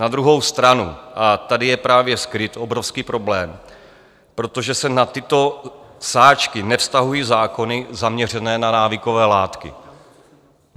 Na druhou stranu - a tady je právě skryt obrovský problém, protože se na tyto sáčky nevztahují zákony zaměřené na návykové látky.